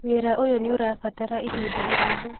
Wĩra ũyũ nĩũrabatara ihinda iraihu